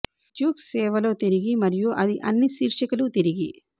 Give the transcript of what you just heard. Duke సేవ లో తిరిగి మరియు అది అన్ని శీర్షికలు తిరిగి